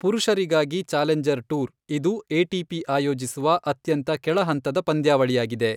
ಪುರುಷರಿಗಾಗಿ challenger tour, ಇದು ATP. ಆಯೋಜಿಸುವ ಅತ್ಯಂತ ಕೆಳಹಂತದ ಪಂದ್ಯಾವಳಿಯಾಗಿದೆ.